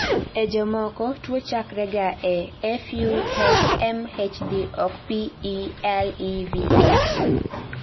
e jomoko tuwo chakrega e FUMHD ok PLEVA